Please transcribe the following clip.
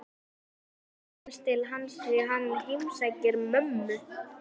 Ég þekki aðeins til hans því hann heimsækir mömmu